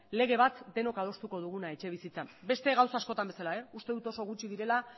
lege bat denok adostuko duguna etxebizitzan beste gauza askotan bezala uste dut oso gutxi direla